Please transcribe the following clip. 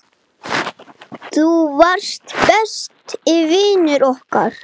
Tólfta holan í dag